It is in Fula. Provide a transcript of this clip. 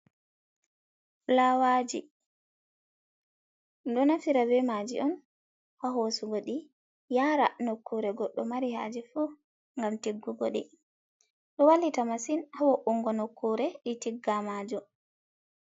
Filawaji, ɗum ɗo naftira be maji on ha hosugo ɗi yara nokkure goɗɗo mari haje fu ngam tiggugo ɗi. Ɗo wallita masin ha wo, ungo nokkure ɗi tigga majum.